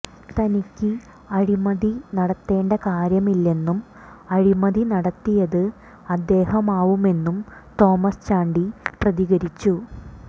തനിക്ക് അഴിമതി നടത്തേണ്ട കാര്യമില്ലെന്നും അഴിമതി നടത്തിയത് അദ്ദേഹമാവുമെന്നും തോമസ് ചാണ്ടി പ്രതികരിച്ചിരുന്നു